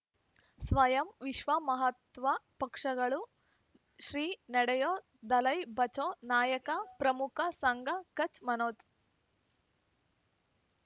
ಸ್ವಯಂ ವಿಶ್ವ ಮಹಾತ್ವ ಪಕ್ಷಗಳು ಶ್ರೀ ನಡೆಯೂ ದಲೈ ಬಚೌ ನಾಯಕ ಪ್ರಮುಖ ಸಂಘ ಕಚ್ ಮನೋಜ್